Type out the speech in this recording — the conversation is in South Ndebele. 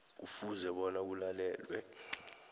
kufuze bona kulalelwe